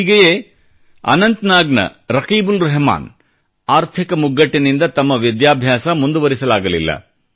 ಹೀಗೆಯೇ ಅನಂತನಾಗ್ನ ರಕೀಬ್ ಉಲ್ ರೆಹಮಾನ್ ಆರ್ಥಿಕ ಮುಗ್ಗಟ್ಟಿನಿಂದ ತಮ್ಮ ವಿದ್ಯಾಭ್ಯಾಸ ಮುಂದುವರಿಸಲಾಗಲಿಲ್ಲ